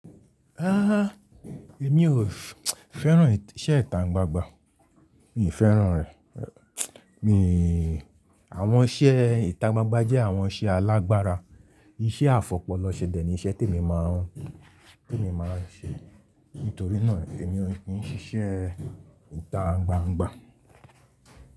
Ahn ahn, èmi ò fẹ́ràn iṣẹ́ ìta gbangba. Mi ò fẹ́ràn rẹ̀. Mi Àwọn iṣẹ́ ìta gbangba jẹ́ àwọn iṣẹ́ alágbára. Iṣẹ́ afọpọlọ ṣe dẹ̀ ni iṣẹ́ tí emi máa ń, tí emi máa ń ṣe. Nítorí náà èmi ò kí ń ṣíṣẹ́ ìta gbangba.